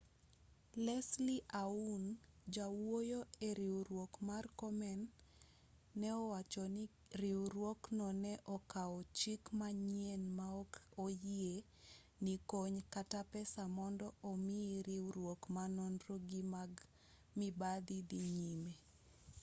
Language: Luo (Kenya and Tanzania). leslie aun jawuoyo eriwruok mar komen ne owacho ni riwruokno ne okawo chik machien ma ok oyie ni kony kata pesa mondo omi riwruok ma nonro gi mag mibadhi dhii nyime